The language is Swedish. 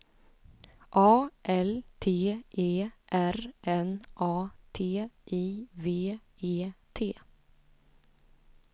A L T E R N A T I V E T